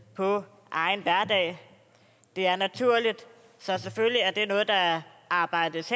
på egen hverdag det er naturligt så selvfølgelig er det noget der arbejdes